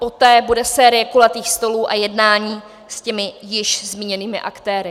Poté bude série kulatých stolů a jednání s těmi již zmíněnými aktéry.